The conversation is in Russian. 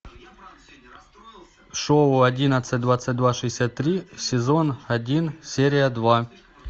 шоу одиннадцать двадцать два шестьдесят три сезон один серия два